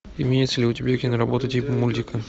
имеется ли у тебя киноработа типа мультика